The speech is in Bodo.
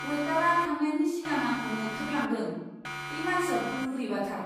अवेटारआ थांनायनि सिगां आंखौ मोख्रेबलांदों। बे मानसिया बोरैबाथार।